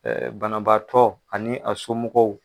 E Banabaatɔ ani a somɔgɔw.